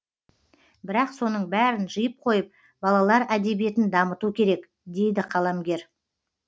бірақ соның бәрін жиып қойып балалар әдебиетін дамыту керек дейді қаламгер